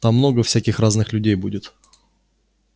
там много всяких разных людей будет